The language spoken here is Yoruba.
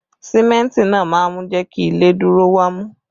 Símẹ́ntì náà máa ń jẹ kí ilé dúró wámú